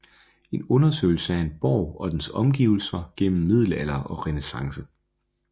En undersøgelse af en borg og dens omgivelser gennem middelalder og renæssance